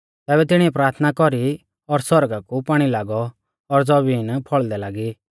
तैबै तिणीऐ प्राथना कौरी और आसमाना कु पाणी लागौ और ज़बीन फौल़दै लागी